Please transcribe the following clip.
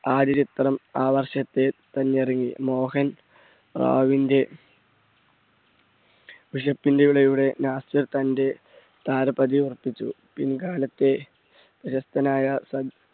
ആദ്യ ചിത്രം ആ വർഷത്തെ തന്നെ ഇറങ്ങി. മോഹൻ റാവുന്റെ last തന്റെ താരപദവി വർദ്ധിച്ചു. പിൻകാലത്തെ പ്രശസ്തനായ